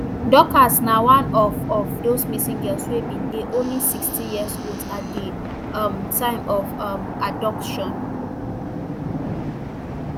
dorcas na one of of those missing girls wey bin dey only sixteen years old at di um time of her um abduction